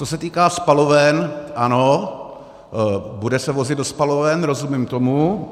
Co se týká spaloven, ano, bude se vozit do spaloven, rozumím tomu.